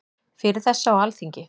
Fyrir þessu á Alþingi.